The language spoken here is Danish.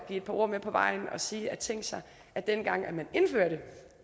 et par ord med på vejen og sige tænk sig at dengang man indførte